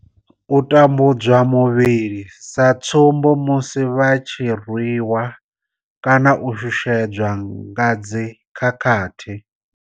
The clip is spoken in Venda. U tambudzwa muvhili, sa tsumbo, musi vha tshi rwi wa kana u shushedzwa nga dzi khakhathi.